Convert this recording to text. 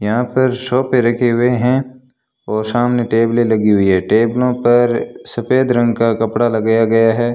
यहां पर सोफे रखे हुए है और सामने टेबले लगी हुई है टेबलो पर सफेद रंग का कपड़ा लगाया गया है।